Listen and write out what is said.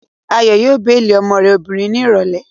Ayọ̀ yóò béèlì ọmọ rẹ̀ obìnrin ní ìrọ̀lẹ́